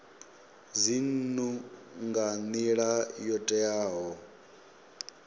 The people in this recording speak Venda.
dzinnu nga nila yo teaho